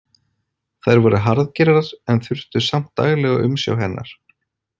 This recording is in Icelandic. Þær voru harðgerðar en þurftu samt daglega umsjá hennar.